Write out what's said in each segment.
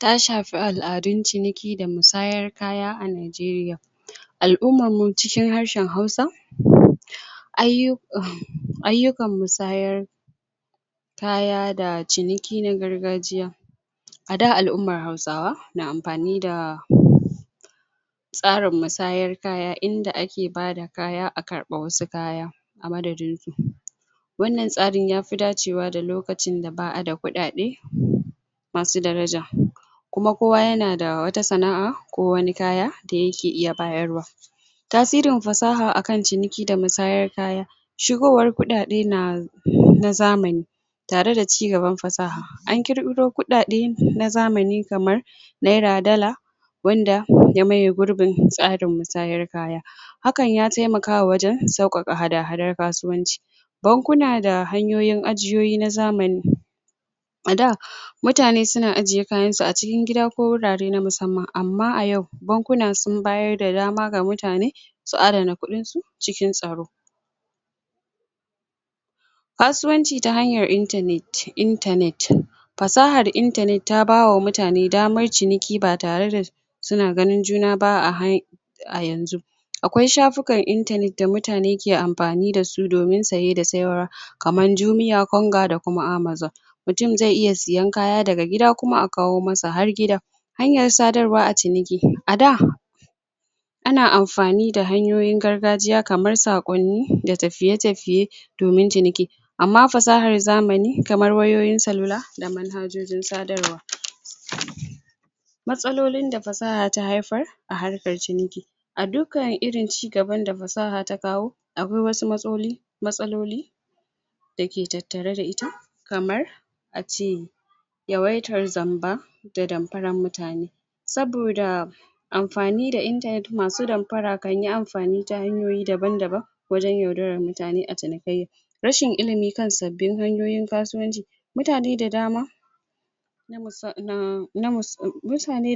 ta shafi aladun ciniki da musayar kaya a nigeria alummar mu cikin harshen hausa ayyukan musayar kaya da ciniki na gargajiya a da alummar hausawa na amfani da tsarin musayar kaya inda ake bada kaya a karbi wasu kaya a madadin su wannan tsarin ya fi dacewa da lokcin da ba'a da kudade masu daraja kuma kowa yana da wata sana'a ko wani kaya da yake iya bayarwa tasirin fasaha a kan cinikin da musayar kaya shigowar kudade nazamani tareda cigaban fasaha an kirkiro kudade na zamani kamar naira dollar wanda ya maye gurbin tsarin musayar kaya hakan ya taimaka wajen saukaka hada hadar kasuwanci bankuna da hanyoyin ajiyoyi na zamani a da mutane suna ajiye kayansu su a cikin gida ko wurare na musamman amma a yau bankuna sun bayar da dama ga mutanee su adana kudinsu cikin tsaro kasuwanci ta hanyar, internet fasahar internet ta bawa mutane damar ciniki ba tareda suna ganin juna a yanxu akwai shafukan internet da mutane ke amfani da su domin saye da sayarwa kamar jumia konga da kuma amazon mutum zai iya siyan kaya daga gida kuma a kawo masa har gida hanyar sadar wa a ciniki,a da ana amfani da hanyoyin gargajiya kamar sakonni da tafiye tafiye domin ciniki amma fasahar zamani kamar wayoyin da manhajojin sadarwa matsalolin da fasaha ta haifar a harkar ciniki A dukkan irin ci gaban da fasaha ta kawo Akwai wasu matsaloli Dake tattare da ita kamar ace yawaitar zamba da damfarar mutane saboda amfani da internet masu damfara kanyi amfani ta hanyoyi daban daban wajen yaudarar mutane a cinikayya rashin ilimi kan sabbin hanyoyin kasuwanci mutane da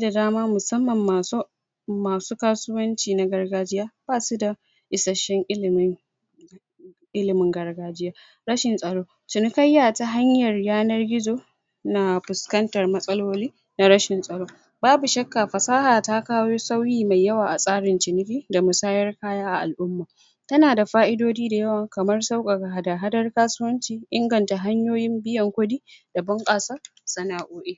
dama musamman masu masu kasuwanci na gargajiya, basuda isasshen ilimi ilimin gargajiya rashin tsaro ciniayya ta hanyar yanar gizo na fuskantar matsaloli na rashin tsaro babu shakka fasaha ta kawo sauri mai yawa a tsarin ciniki, da musayar kaya a al'umma tanada fa'idoji dayawa kamar saukaka hada-hadar kasuwanci, inganta hanyoyin biyan kudi da bunkasa sana'o'i.